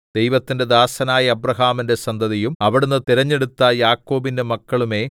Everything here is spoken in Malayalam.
ദൈവത്തിന്റെ ദാസനായ അബ്രാഹാമിന്റെ സന്തതിയും അവിടുന്ന് തിരഞ്ഞെടുത്ത യാക്കോബിന്റെ മക്കളുമേ